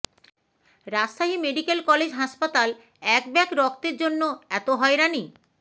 Rajshahi medical college হাসপাতাল এক bag রক্তের জন্য এত হয়রানি